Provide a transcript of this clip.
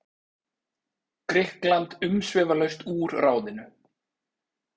Grikkland umsvifalaust úr ráðinu.